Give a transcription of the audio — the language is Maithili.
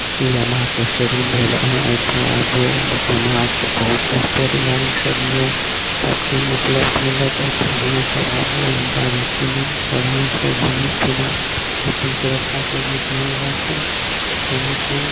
यामाहा के शौरूम भेल आहाँ ऐठा आबू ब यामाहा के बहुत स्पोर्ट गाड़ी सब ये सब चीज उपलब्ध मिलत ऐठा आहां आबू इ गाड़ी कीनू बढ़िया से घुमू फिरु अपन सुरक्षा के भी ध्यान राखु संगे संग --